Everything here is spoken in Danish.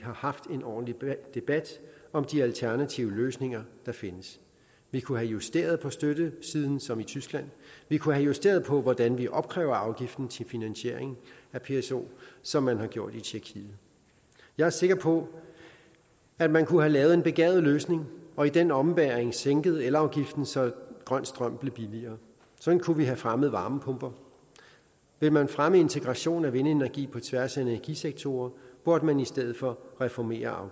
har haft en ordentlig debat om de alternative løsninger der findes vi kunne have justeret på støttesiden som i tyskland vi kunne have justeret på hvordan vi opkræver afgiften til finansiering af pso som man har gjort i tjekkiet jeg er sikker på at man kunne have lavet en begavet løsning og i den ombæring sænket elafgiften så grøn strøm blev billigere sådan kunne vi have fremmet varmepumper vil man fremme integration af vindenergi på tværs af energisektorer burde man i stedet for reformere